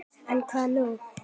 En hvað nú?